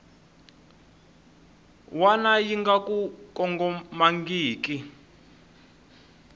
wana yi nga ku kongomangiki